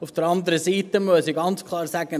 Auf der anderen Seite muss ich ganz klar sagen: